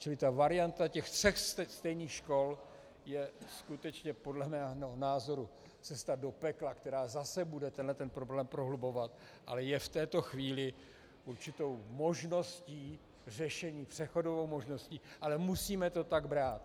Čili ta varianta, ten sextet stejných škol, je skutečně podle mého názoru cesta do pekla, která zase bude tenhle problém prohlubovat, ale je v této chvíli určitou možností řešení, přechodovou možností, ale musíme to tak brát.